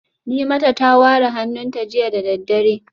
Nimata ta ware hannunta jiya da daddare